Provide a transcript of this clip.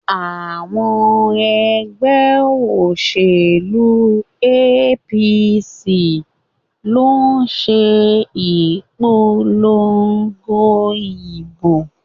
Àwọn ẹgbẹ́ òṣèlú APC ló ń ṣe ìpolongo ìbò.